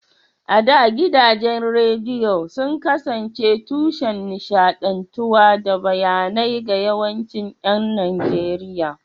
A da, gidajen rediyo sun kasance tushen nishaɗantarwa da bayanai ga yawancin ƴan Najeriya.